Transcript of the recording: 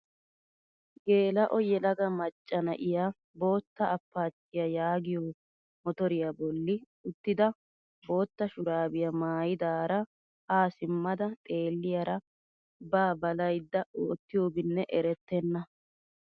Geela'o yelaga macca na'iyaa bootta apaachchiyaa yaagiyoo motoriyaa bolli uttida bootta shuraabiyaa maayidaara haa simmada xeelliyaara ba ballayada oottiyobinne erettena!